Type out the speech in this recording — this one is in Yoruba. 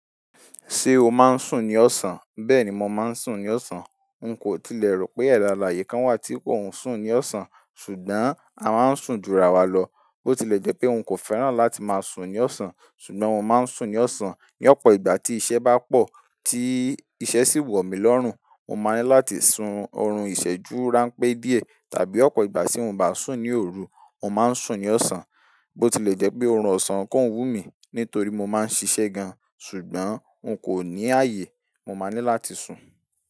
Ṣé o máa ń sùn ní ọ̀sán? Bẹ́ẹ̀ni ma ń sùn ní ọ̀sán. N kò tilẹ̀ rò pé èda alààyè kan wà tí kò sùn ní ọ̀sán, ṣùgbọ́n a máa ń sùn júrà wà lọ. Bó tilẹ̀ jẹ́ pé n kò fẹ́ràn láti máa sùn ní ọ̀sán ṣùgbọ́n mo máa ń sùn ní ọ̀sán ní ọ̀pọ̀ ìgbà tí iṣẹ́ bá pọ̀, tí iṣẹ́ sì wọ̀ mí lọ́rùn. Mo máa ní láti sun oorun ìṣẹ́jú ránpẹ́ díẹ̀ tàbí ọ̀pọ̀ ìgbà tí mò bá sùn ní òru, mò máa ń sùn ní ọ̀sán. Bó tilẹ̀ jẹ́ pé orun ọ̀sán kò wú mi nítorí mo máa ń ṣiṣẹ́ gan ṣùgbọ́n n kò ní ààyè, mo máa ní láti sùn.